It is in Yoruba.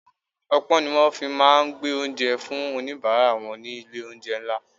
Opon ni wón fi máa ń gbé oúnjẹ fún onibaara wọn ni ilé olounje ńlá.